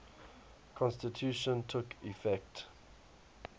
constitution took effect